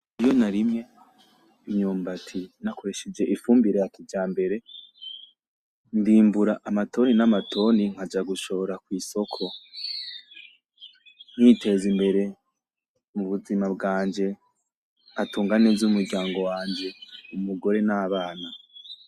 Iyo narimye imyumbati nakoresheje ifumbire ya kijambere ndimbura amatoni n'amatoni nkaja gushora ku isoko nkiteza imbere mu buzima bwanje nkatunga neza umuryango wanje umugore n'abana.